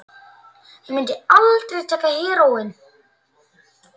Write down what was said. Ég mundi aldrei taka heróín.